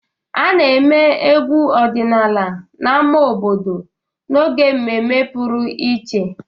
A na-eme egwu ọdịnala n'ámá obodo n'oge mmemme pụrụ iche.